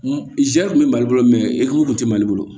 Zɛri kun bɛ mali bolo mɛ ekuru kun tɛ mali bolo